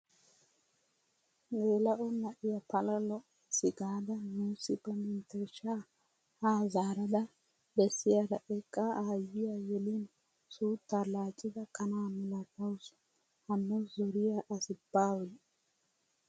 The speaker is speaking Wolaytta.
Geela'o na'iyaa pala lo"ays gaada nuusi ba menttershshaa ha zaarada bessiyaara eqqa aayiyaa yelin suuttaa laaccida kanaa milatawus! hanno zoriyaa asi baawe.